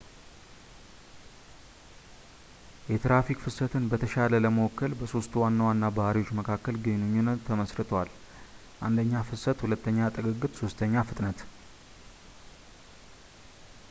የትራፊክ ፍሰትን በተሻለ ለመወከል በሦስቱ ዋና ዋና ባህሪዎች መካከል ግንኙነቶች ተመስርተዋል፥ 1 ፍሰት ፣ 2 ጥግግት እና 3 ፍጥነት